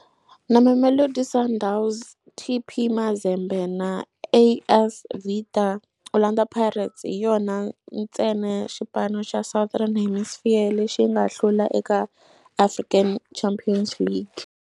Na Mamelodi Sundowns, TP Mazembe na AS Vita, Orlando Pirates hi yona ntsena xipano xa Southern Hemisphere lexi nga hlula eka African Champions League.